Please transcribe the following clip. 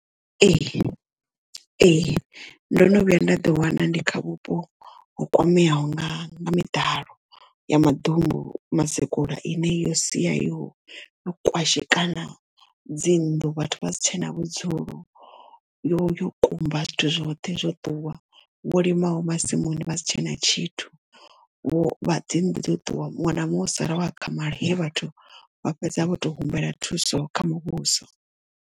Ee ee ndo no vhuya nda ḓi wana ndi kha vhupo ho kwameaho nga miḓalo ya maḓumbu mazikula ine yo sia yo kwashekana dzinnḓu vhathu vha si tshena vhudzulo yo yo kumba zwithu zwoṱhe zwo ṱuwa vho lima ho masimuni vha si tshena tshithu vho vha dzi nnḓu dzo ṱuwa muṅwe na muṅwe o sala o akhamala he vhathu vha fhedza vho to humbela thuso kha muvhuso.